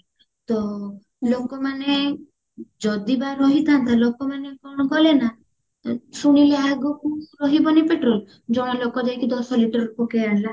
ତ ଲୋକମାନେ ଜଦି ବା ରହିଥାନ୍ତା ଲୋକମାନେ କଣ କାଲେ ନା ତ ଶୁଣିଲେ ଆଗକୁ ରହିବନି petrol ଜଣେ ଲୋକ ଯାଇକି ଦଶ liter ପକେଇଆଣିଲା